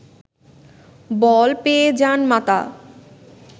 বল পেয়ে যান মাতা